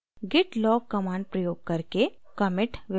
git log command प्रयोग करके commit विवरण देखें